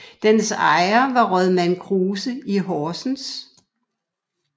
Dens ejer var Rådmand Kruse i Horsens